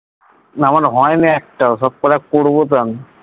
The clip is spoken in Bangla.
না, আমার হয়নি একটাও। সব কটা করবো তো আমি।